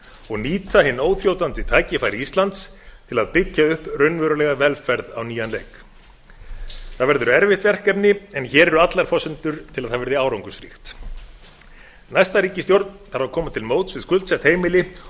og nýta hin óþrjótandi tækifæri íslands til að byggja upp raunverulega velferð á nýjan leik það verður erfitt verkefni en hér eru allar forsendur til að það verði árangursríkt næsta ríkisstjórn þarf að koma til móts við skuldsett heimili